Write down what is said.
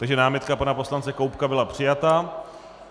Takže námitka pana poslance Koubka byla přijata.